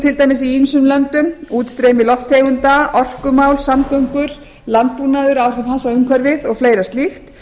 til dæmis í ýmsum löndum útstreymi lofttegunda samgöngumál orkumál samgöngur landbúnaður áhrif hans á umhverfið og fleira slíkt